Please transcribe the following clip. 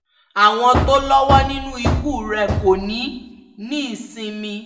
àwọn tó lọ́wọ́ nínú ikú rẹ̀ kò ní í nísinmi